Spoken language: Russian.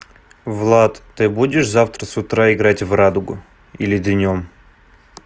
влад ты будешь завтра с утра играть в радугу или днём